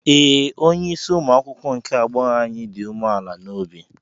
Ee, onye isi umuakwukwo nke agbọghọ anyị dị umeala n'obi.